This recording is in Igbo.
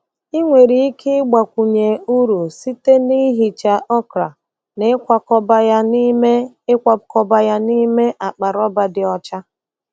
Ị nwere ike ịgbakwunye uru site na ihicha okra na ịkwakọba ya n'ime ịkwakọba ya n'ime akpa rọba dị ọcha.